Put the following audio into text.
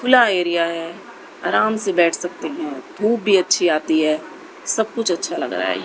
खुला एरिया है अराम से बैठ सकते है धूप भी अच्छी आती है सब कुछ अच्छा लग रहा--